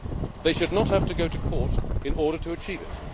They should not have to go to court in order to achieve